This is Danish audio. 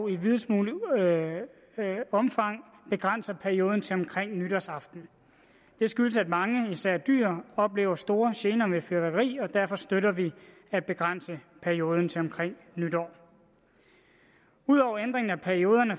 i videst muligt omfang begrænser perioden til omkring nytårsaften det skyldes at mange især dyr oplever store gener med fyrværkeri og derfor støtter vi at begrænse perioden til omkring nytår ud over ændring af perioderne